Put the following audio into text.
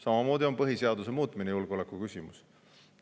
Samamoodi on põhiseaduse muutmine julgeolekuküsimus.